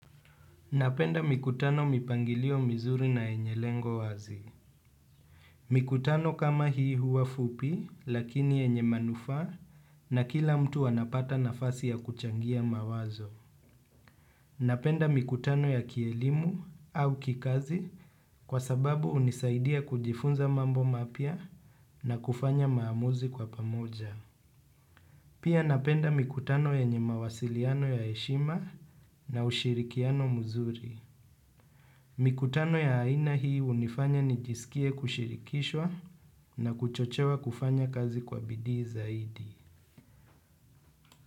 Napenda mikutano mipangilio mizuri na yenye lengo wazi. Mikutano kama hii huwa fupi lakini yenye manufa na kila mtu anapata nafasi ya kuchangia mawazo. Napenda mikutano ya kielimu au kikazi kwa sababu unisaidia kujifunza mambo mapia na kufanya maamuzi kwa pamoja. Pia napenda mikutano yenye mawasiliano ya heshima na ushirikiano mzuri. Mikutano ya haina hii hunifanya nijisikie kushirikishwa na kuchochewa kufanya kazi kwa bidi zaidi.